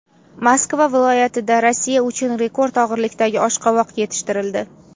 Moskva viloyatida Rossiya uchun rekord og‘irlikdagi oshqovoq yetishtirildi.